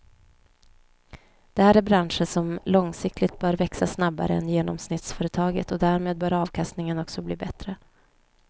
Det här är branscher som långsiktigt bör växa snabbare än genomsnittsföretaget och därmed bör avkastningen också bli bättre.